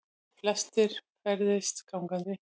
Flestir ferðist gangandi